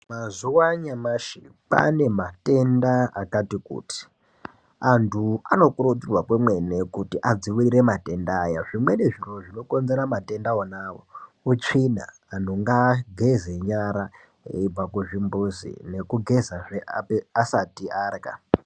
Mazuva anyamashi kwane matenda akati kuti. Antu anokurudzirwa kwemene kuti adzivirire matenda aya. Zvimweni zviro zvinokonzera matenda onavo utsvina antu ngaageze nyara eibva kuzvimbuzi nekugezazve asati arya.